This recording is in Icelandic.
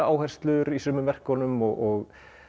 áherslur í sumum verkunum og